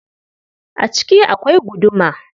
A ciki akwai guduma.